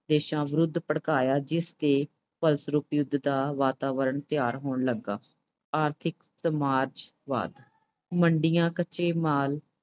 ਦੇਸ਼ਾਂ ਵਿਰੁੱਧ ਭੜਕਾਇਆ, ਜਿਸ ਦੇ ਫਲਸਰੂਪ ਯੁੱਧ ਦਾ ਵਾਤਾਵਰਣ ਤਿਆਰ ਹੋਣ ਲੱਗਾ। ਆਰਥਿਕ ਸਮਾਜਵਾਦ, ਮੰਡੀਆਂ ਕੱਚੇ ਮਾਲ